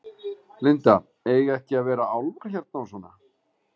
Linda: Eiga ekki að vera álfar hérna og svona?